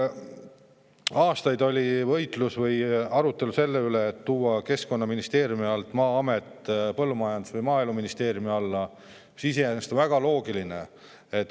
Aastaid oli arutelu selle üle, kas tuua Maa-amet Keskkonnaministeeriumi alt põllumajandus- või maaeluministeeriumi alla, mis iseenesest oleks väga loogiline.